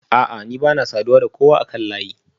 A'a ni bana saduwa da kowa akan layi